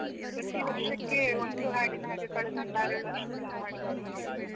ವರ್ಷಕ್ಕೆ ಒಂದು ಹಾಡಿನ ಹಾಗೆ, ಕಳೆದ ಒಂದು ಆರೇಳು ವರ್ಷದಿಂದ ಮಾಡಿಕೊಂಡು ಬಂದಿದ್ದೇವೆ.